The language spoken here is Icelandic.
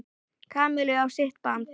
Kamillu á sitt band.